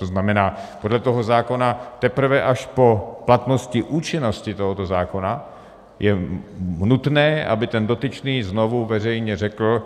To znamená, podle toho zákona teprve až po platnosti účinnosti tohoto zákona je nutné, aby ten dotyčný znovu veřejně řekl: